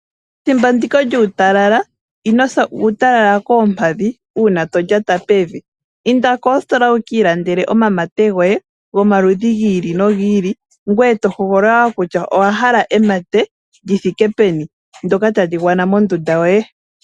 Thimbo ndika lyuutalala inosa uutalala koompadhi una tolyata pevi. Inda koositola wuki ilandela oomamate goye gomaludhi gi ili nogi ili. Ngoye to hogolola wo kutya owa hala emate lithike peni dhoka tadhi gwana mondundu yoye.